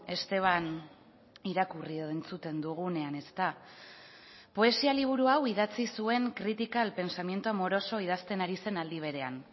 esteban irakurri edo entzuten dugunean ezta poesia liburu hau idatzi zuen crítica al pensamiento amoroso idazten ari zen aldi berean